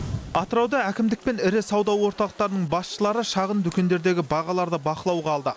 атырауда әкімдік пен ірі сауда орталықтарының басшылары шағын дүкендердегі бағаларды бақылауға алды